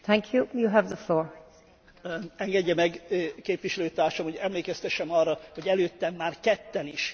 Engedje meg, képviselőtársam, hogy emlékeztessem arra, hogy előttem már ketten is elmondták azt, amit én is elmondtam.